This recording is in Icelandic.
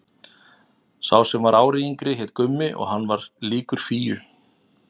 Sá sem var ári yngri hét Gummi og hann var líkur Fíu.